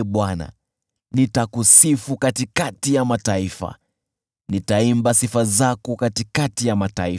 Nitakusifu wewe, Ee Bwana , katikati ya mataifa; nitaimba habari zako, katikati ya jamaa za watu.